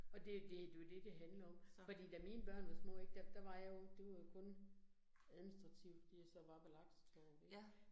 Og det jo det det jo det handler om. Fordi da mine børn var små ik, der der var jeg jo, det var jo kun administrativt, de jo så var belagt, så det